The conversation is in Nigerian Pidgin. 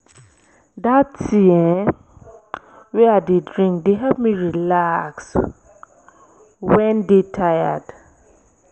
dat tea um wey i dey drink dey help me relax wen dey tired.